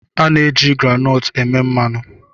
A na-eji groundnut eme mmanụ